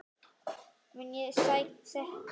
Mun ég sekta hann?